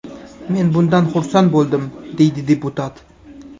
Men bundan xursand bo‘ldim”, deydi deputat.